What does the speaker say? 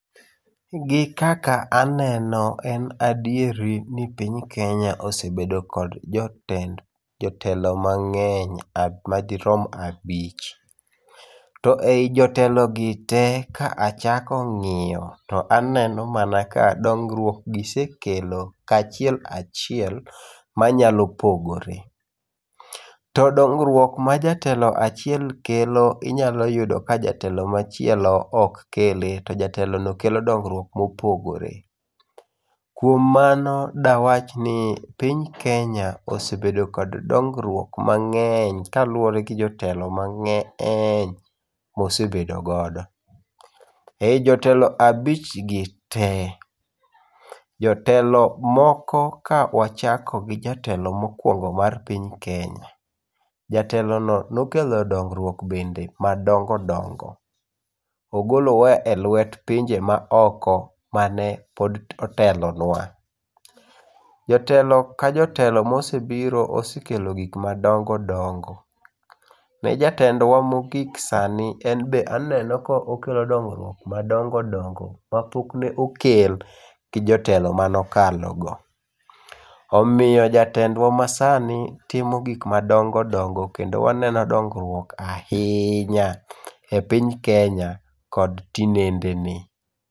Gi kaka eneno en adieri ni piny Kenya osebedo kod jotelo mange'ny madirom abich, to e hi jotelogite ka achako ngi'yo to aneno mana ka dung'ruokgi gisekelo kachiel, kachiel manyalo pogore, to dongruok ma jatelo achiel kelo inyalo yudo ka jatelo machielo ok kele to jatelono kelo dongruok mopogore, kuom mano dawach ni piny Kenya osebedo kod dongruok mange'ny kaluwore gi jotelo mange'ny mosebedogodo, e yi jotelo abich gi te, jotelo moko ka wachako kawachako gi jatelo mokuongo' e piny Kenya , jatelono be nokelo dong'ruok no bende madongo' dongo' ogolowa e lwet pinje maoko mane otelonwa, joteli ka jotelo mosebiro osekelo gik ma dongo' dongo' ne jatendwa mogik sani en be aneno ka okelo dongruok madongo' dongo' ma pok ne okel gi jotelo manokalogo , omiyo jatendwa masani timo gik madongo' dongo' kendo waneno dongruok ahiinya e piny Kenya kod tinendeni.